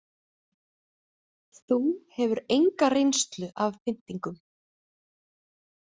Þú hefur enga reynslu af pyntingum.